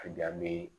A dan be